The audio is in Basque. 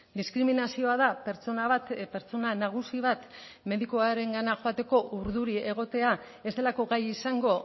diskriminazioa da pertsona bat pertsona nagusi bat medikuarengana joateko urduri egotea ez delako gai izango